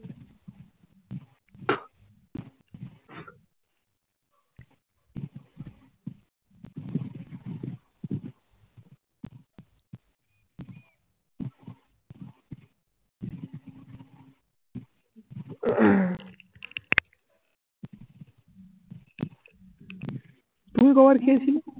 তুমি কবার খেয়েছিলে?